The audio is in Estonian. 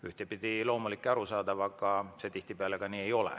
Ühtpidi loomulik ja arusaadav, aga see tihtipeale nii ei ole.